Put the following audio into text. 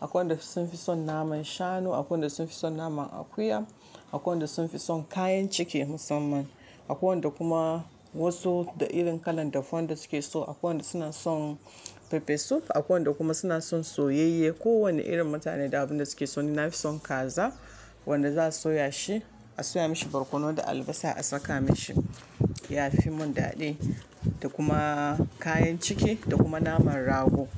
akwai wanda sun fi son naman shanu, akwai wanda sun fi son naman akuya, akwai wanda sun fi son kayan ciki musamman, akwai wanda kuma wasu da irin kalan dafuwan da suke so, akwai wanda suna son farfesu, akwai wanda kuma suna son soyayye. Ko wanne irin mutane da abun da suke so. Ni nafi son kaza wanda za a soya shi, a soya mashi barkono da albasa a saka mashi, ya fi mun dadi da kuma kayan ciki da kuma naman rago.